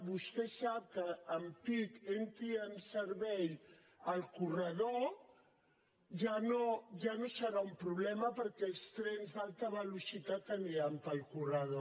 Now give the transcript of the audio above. vostè sap que en pic entri en servei el corredor ja no serà un problema perquè els trens d’alta velocitat aniran pel corredor